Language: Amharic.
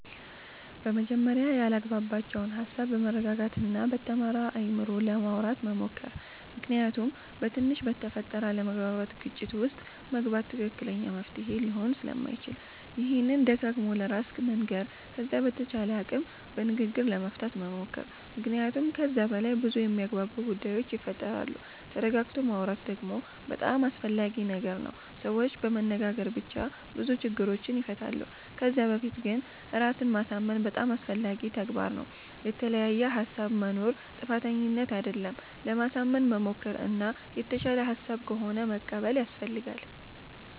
በመጀመርያ ያላግባባቸዉን ሃሳብ በመረጋጋት እና በተማረ አይምሮ ለማዉራት መሞከር ምክንያቱም በትንሽ በተፈጠረ አለመግባባት ግጭት ዉስጥ መግባት ትክክለኛ መፍትሄ ሊሆን ስለማይችል ይሄንን ደጋግሞ ለራስ መንገር ከዛ በተቻለ አቅም በንግግር ለመፍታት መሞከር መክንያቱመ ከዛ በላይ በዙ የሚያግባቡ ጉዳዮች ይፈጠራሉ ተረጋግቶ ማወራት ደግሞ በጣም አስፈላጊ ነገር ነዉ ሰዎች በመነጋገር ብቻ ብዙ ችግሮችን ይፈታሉ ከዛ በፊት ግን ራስን ማሳምን በጣም አስፈላጊ ተግባር ነዉ። የተለያየ ሃሳብ መኖር ጥፋተኝነት አደለም ለማሳመን መሞከር እና የተሻለ ሃሳብ ከሆነ መቀበል ያሰፈልጋል